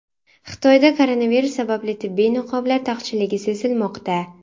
Xitoyda koronavirus sababli tibbiy niqoblar taqchilligi sezilmoqda.